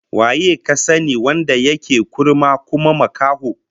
Waye ka sani wanda yake kurma kuma makaho?